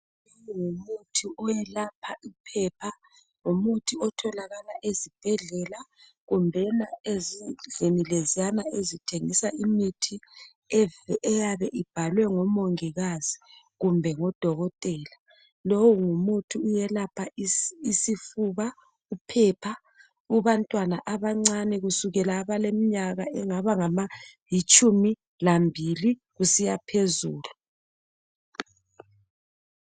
Umuthi owelapha iphepha lomuthi otholakala ezibhedlela kumbe ezindlini lezana ezithengisa imithi eyabe ibhalwe ngumongikazi kumbe ngodokotela. Lowu ngumuthi uyelapha isifuba uphepha kubantwana abancane kusukela abaleminyaka engabalitshumi lambili kusiyaphezulu.